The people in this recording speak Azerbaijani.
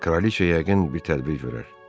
Kraliça yəqin bir tədbir görər.